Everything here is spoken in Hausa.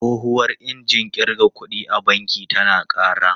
Tsohuwar injin kirga kuɗi a banki tana yawan ƙara.